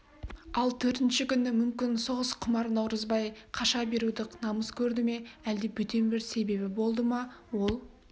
ал төртінші күні мүмкін соғысқұмар наурызбай қаша беруді намыс көрді ме әлде бөтен бір себебі болды ма ол